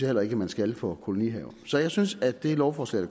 heller ikke man skal det for kolonihaver så jeg synes at det lovforslag